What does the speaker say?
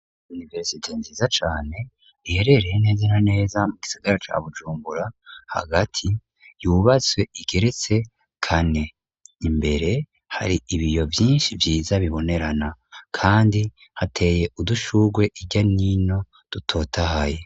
Univerisite nziza cane iherereye neze na neza mu gisigara ca bujumbura hagati yubatswe igeretse kane. Imbere hari ibiyo vyinshi vyiza bibonerana kandi hateye udushugwe ijya nino dutotahaye.